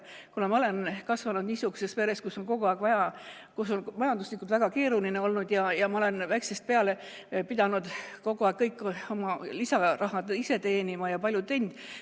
Mina olen kasvanud niisuguses peres, kus oli majanduslikult väga keeruline, ja ma olen väikesest peale pidanud kogu aeg oma lisaraha ise teenima ja olen palju teinud.